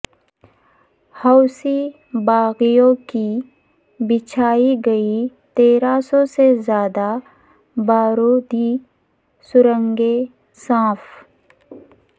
حوثی باغیوں کی بچھائی گئی تیرہ سو سے زائد بارودی سرنگیں صاف